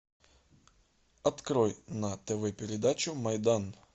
открой на тв передачу майдан